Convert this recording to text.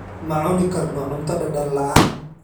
Ma cuni karno cunto dhadhan la'aan.